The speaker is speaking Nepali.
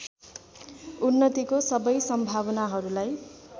उन्नतिको सबै सम्भावनाहरूलाई